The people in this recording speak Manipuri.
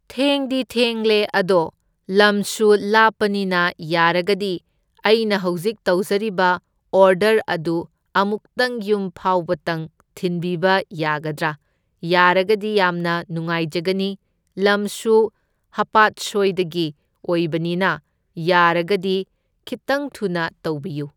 ꯊꯦꯡꯗꯤ ꯊꯦꯡꯂꯦ ꯑꯗꯣ ꯂꯝꯁꯨ ꯂꯥꯞꯄꯅꯤꯅ ꯌꯥꯔꯒꯗꯤ ꯑꯩꯅ ꯍꯧꯖꯤꯛ ꯇꯧꯖꯔꯤꯕ ꯑꯣꯔꯗꯔ ꯑꯗꯨ ꯑꯃꯨꯛꯇꯪ ꯌꯨꯝ ꯐꯥꯎꯕꯇꯪ ꯊꯤꯟꯕꯤꯕ ꯌꯥꯒꯗ꯭ꯔꯥ? ꯌꯥꯔꯒꯗꯤ ꯌꯥꯝꯅ ꯅꯨꯉꯥꯏꯖꯒꯅꯤ, ꯂꯝꯁꯨ ꯍꯥꯄꯥꯠꯁꯣꯏꯗꯒꯤ ꯑꯣꯏꯕꯅꯤꯅ ꯌꯥꯔꯒꯗꯤ ꯈꯤꯠꯇꯪ ꯊꯨꯅ ꯇꯧꯕꯤꯌꯨ꯫